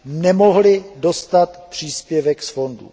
nemohly dostat příspěvek z fondů.